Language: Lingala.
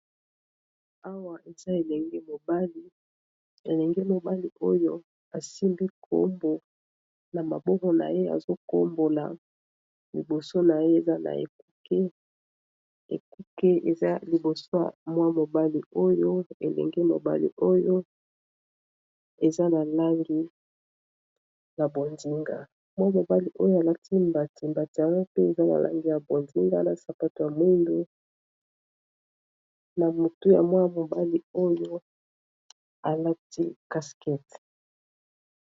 awa eza elengeelenge mobali oyo esimbi nkombo na maboko na ye azokombola liboso na ye eza na ekuke ekuke eza liboso ya mwa mobali oyo elenge mobali oyo eza na langi ya bodinga mwa mobali oyo alati mbati mbatire pe eza na langi ya bodinga na sapato ya moingo na motu ya mwa mobali oyo alati caskete